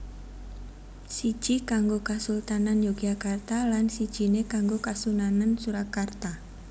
Siji kanggo kasultanan Yogyakarta lan sijiné kanggo Kasunanan Surakarta